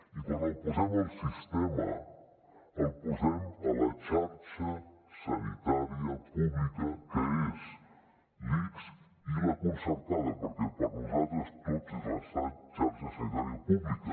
i quan el posem al sistema el posem a la xarxa sanitària pública que és l’ics i la concertada perquè per nosaltres tots és la xarxa sanitària pública